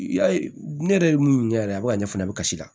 I y'a ye ne yɛrɛ ye mun ɲɛ yɛrɛ a bɛ ka ɲɛ fana bɛ kasi la